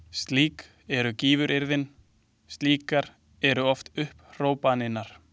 Slík eru gífuryrðin, slíkar eru oft upphrópanirnar.